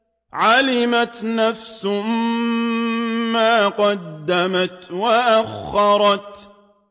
عَلِمَتْ نَفْسٌ مَّا قَدَّمَتْ وَأَخَّرَتْ